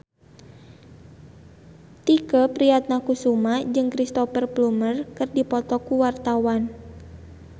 Tike Priatnakusuma jeung Cristhoper Plumer keur dipoto ku wartawan